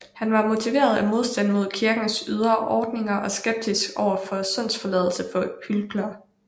Han var motiveret af modstand mod kirkens ydre ordninger og skepsis overfor syndsforladelse for hyklere